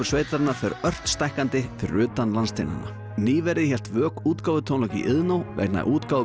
sveitarinnar fer ört stækkandi utan landsteinanna nýverið hélt vök útgáfutónleika í Iðnó vegna útgáfu